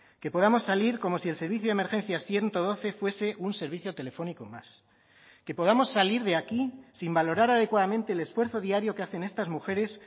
que podamos salir como si el servicio de emergencia ciento doce fuese un servicio telefónico más que podamos salir de aquí sin valorar adecuadamente el esfuerzo diario que hacen estas mujeres